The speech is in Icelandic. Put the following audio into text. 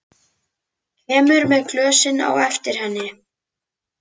Kemur með glösin á eftir henni.